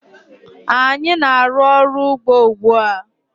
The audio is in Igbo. Anyị na-aru ọrụ ugbó ugbu a.